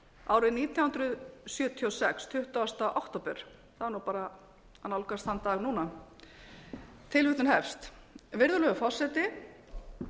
árið nítján hundruð sjötíu og sex tuttugasta október það er bara að nálgast þann dag núna virðulegur forseti